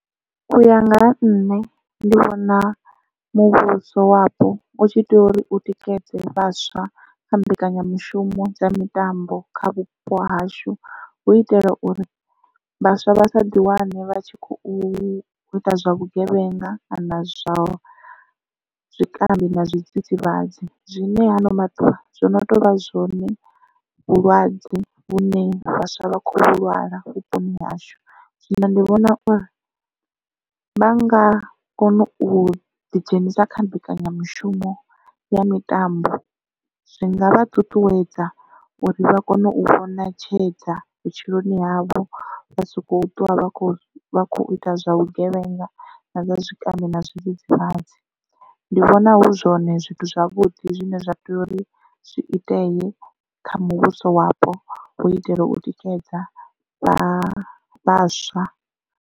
Uya nga ha nṋe ndi vhona muvhuso wapo u tshi tea uri u tikedze vhaswa kha mbekanyamushumo dza mitambo kha vhupo hashu hu itela uri vhaswa vha sa ḓi wane vha tshi khou u ita zwa vhugevhenga kana zwa zwikambi na zwidzidzivhadzi zwine ha ano maḓuvha zwo no tou vha zwone vhulwadze vhune vhaswa vha khou vhulwala vhuponi hashu. Zwino ndi vhona uri vha nga kona u ḓi dzhenisa kha mbekanyamushumo ya mitambo zwi nga vha ṱuṱuwedza uri vha kone u vhona tshedza vhutshiloni havho vha soko ṱuwa vha khou vha kho ita zwa vhugevhenga na zwa zwikambi na zwidzidzivhadzi. Ndi vhona hu zwone zwithu zwavhuḓi zwine zwa tea uri zwi itee kha muvhuso wapo u itela u tikedza vha vhaswa.